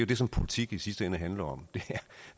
det som politik i sidste ende handler om ja